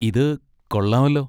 ഇത് കൊള്ളാമല്ലോ.